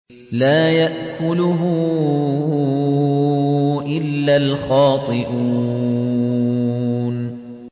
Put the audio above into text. لَّا يَأْكُلُهُ إِلَّا الْخَاطِئُونَ